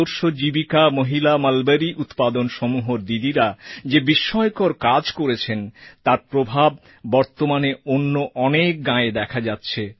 আদর্শ জীবিকা মহিলা মলবরী উৎপাদন সমূহর দিদিরা যে বিস্ময়কর কাজ করেছেন তার প্রভাব বর্তমানে অন্য অনেক গাঁয়ে দেখা যাচ্ছে